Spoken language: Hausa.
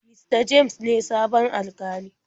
Mista james ne sabon Alkalin.